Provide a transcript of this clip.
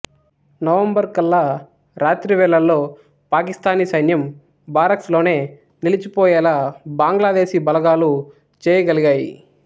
November కల్లా రాత్రి వేళల్లో పాకిస్తానీ సైన్యం బారక్స్ లోనే నిలిచిపోయేలా బంగ్లాదేశీ బలగాలు చేయగలిగాయి